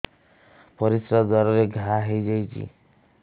ପରିଶ୍ରା ଦ୍ୱାର ରେ ଘା ହେଇଯାଇଛି